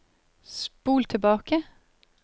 spol tilbake